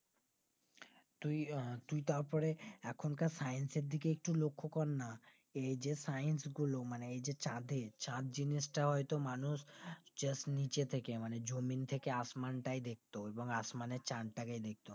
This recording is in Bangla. তুই আহ তুই তার পরে এখনকার science এর দিকে একটু লক্ষ কর না এই যে science গুলো মানে এই যে চাঁদে চাঁদ জিনিসটা হয়তো মানুষ just নিচে থেকে মানে জমিন থেকে আসমান টাই দেখতো এবং আসমানের চাঁদটাকে দেখতো